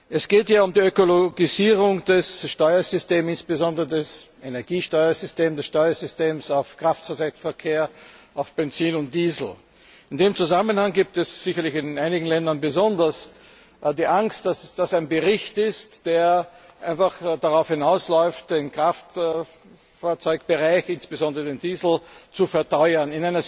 Es geht hier um die Ökologisierung des Steuersystems, insbesondere des Energiesteuersystems, des Steuersystems im Kraftfahrzeugverkehr von Benzin und Diesel. In diesem Zusammenhang besteht sicherlich in einigen Ländern besonders die Angst, das das ein Bericht ist, der darauf hinausläuft, den Kraftfahrzeugbereich, insbesondere den Diesel, zu verteuern,